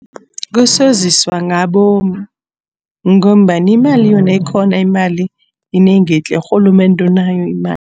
Kusoziswa ngabomu ngombana imali yona ikhona, imali yinengi tle. Urhulumende unayo imali.